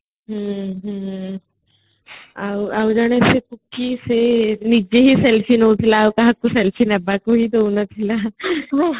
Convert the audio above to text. ହୁଁ ହୁଁ ଆଉଜେଣେ ଅଛି ସେ ନିଜେ ହି selfie ଆଉ କାହାକୁ selfiee ନବାକୂ ହି ଡଉନଥିଲା